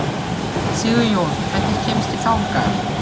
Sigurjón, hvernig kemst ég þangað?